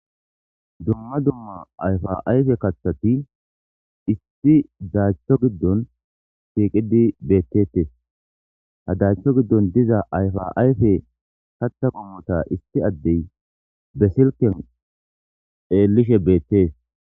dumma dumma ayfa ayfe kathati isti daachcho giddon shiiqidi beettetes ha daachcho giddon diza ayfa ayfe katha qummota isti addey besilken eellishe beettees